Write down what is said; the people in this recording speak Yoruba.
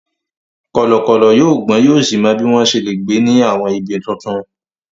Kọ̀lọ̀kọ̀lọ̀ yóò gbọ́n yóò sì mọ bí wọ́n ṣe lè gbé ní àwọn ibi tuntun.